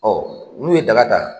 Ɔ n'u ye daga da